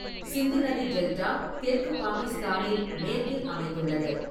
சிந்து நதி டெல்டா தெற்கு பாகிஸ்தானில் மேற்கில் அமைந்துள்ளது.